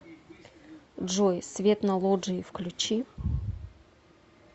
джой свет на лоджии включи